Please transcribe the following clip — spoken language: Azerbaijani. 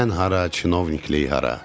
Mən hara, çinovniklik hara.